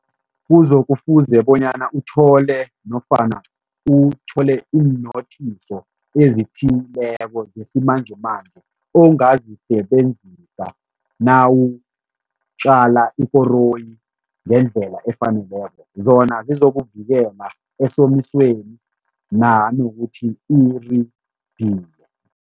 Uzokufuze bonyana uthole nofana uthole iinothiso ezithileko zesimanjemanje ongazisebenzisa nawutjala ikoroyi ngendlela efaneleko, zona zizokuvikela esomisweni nanokuthi uridile.